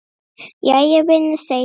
Jæja, vinur segir hann.